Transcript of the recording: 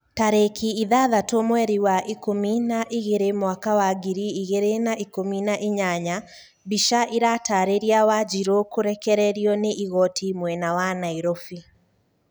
Tarĩki ithathatũ mweri wa ikũmi na igĩrĩ mwaka wa ngiri igirĩ na ikũmi na inyanya mbica ĩratarĩria wanjiru kũrekererio ni igoti mwena wa Nairofi